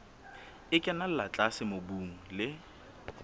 e kenella tlase mobung le